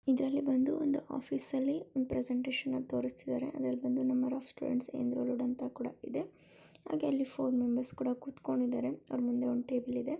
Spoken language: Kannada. ಇದರಲ್ಲಿ ಬಂದು ಒಂದು ಆಫೀಸ್ ನಲ್ಲಿ ಪ್ರೆಸೆಂಟೇಷನ್ ಅನ್ನು ತೋರಿಸುತ್ತಾ ಇದ್ದಾರೆ. ಅದ್ರಲ್ಲಿ ಬಂದು ನಂಬರ್ ಆಫ್ ಸ್ಟೂಡೆಂಟ್ಸ್ ಎನ್ರೋಡ ಅಂತ ಕೂಡ ಇದೆ ಹಾಗೆ ಅಲ್ಲಿ ಫೋರ್ ಮೆಂಬರ್ಸ್ ಕೂಡ ಕೂತ್ಕೊಂಡಿದರೆ ಅವರ ಮುಂದೆ ಒಂದು ಟೇಬಲ್ ಇದೆ--